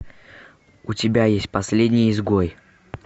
у тебя есть последний изгой